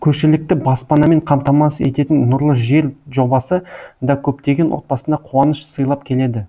көшілікті баспанамен қамтамасыз ететін нұрлы жер жобасы да көптеген отбасына қуаныш сыйлап келеді